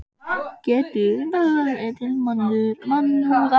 Getur reynt að höfða til mannúðar.